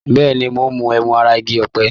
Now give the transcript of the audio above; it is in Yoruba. Bẹ́ẹ̀ni, mo ń mu ẹmu ara igi ọ̀pẹ.